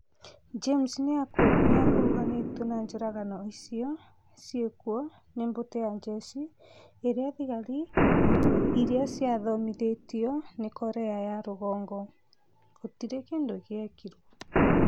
James nĩ akuruhanĩtio na njũragano icio ciĩkwo nĩ mbũtũ ya njeshi ĩrĩa thigari iria ciathomithĩtio nĩ Korea ya rũgongo, gũtirĩ kindũ gĩekirwo.